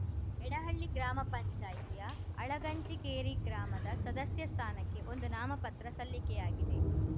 ಯಡಿಹಳ್ಳಿ ಗ್ರಾಮ ಪಂಚಾಯಿತಿಯ ಅಳಗಂಚಿಕೇರಿ ಗ್ರಾಮದ ಸದಸ್ಯ ಸ್ಥಾನಕ್ಕೆ ಒಂದು ನಾಮ ಪತ್ರ ಸಲ್ಲಿಕೆಯಾಗಿದೆ